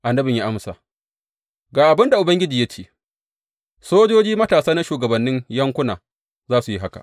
Annabin ya amsa, Ga abin da Ubangiji ya ce, Sojoji matasa na shugabannin yankuna za su yi haka.’